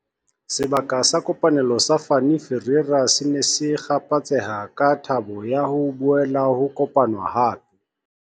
Sebaka sa kopanelo sa Fanie Ferreira se ne se kgaphatseha ka thabo ya ho boela ho kopanwa hape.